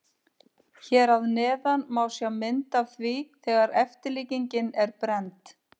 Hér að neðan má sjá mynd af því þegar eftirlíkingin er brennd.